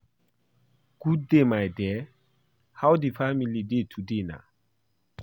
Good day my dear. How the family dey today na?